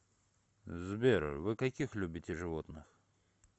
сбер вы каких любите животных